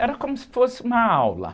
Era como se fosse uma aula.